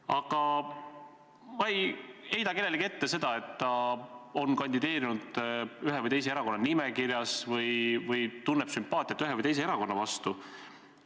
Aga ma ei heida kellelegi ette seda, et ta on kandideerinud ühe või teise erakonna nimekirjas või tunneb sümpaatiat ühe või teise erakonna vastu.